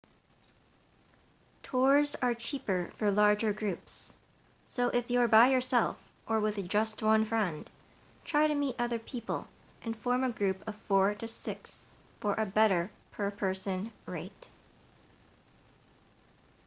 tours are cheaper for larger groups so if you're by yourself or with just one friend try to meet other people and form a group of four to six for a better per-person rate